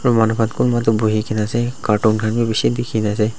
manu khan kumba toh buhikena ase cartoon khan bi bishi dikhina ase.